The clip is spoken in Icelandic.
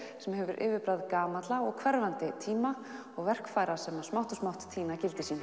sem hefur yfirbragð gamalla og hverfandi tíma og verkfæra sem smátt og smátt týna gildi sínu